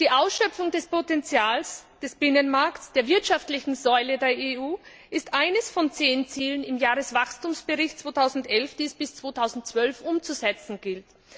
Die Ausschöpfung des Potenzials des Binnenmarkts der wirtschaftlichen Säule der EU ist eines von zehn Zielen im Jahreswachstumsbericht für 2011, die es bis 2012 umzusetzen gilt.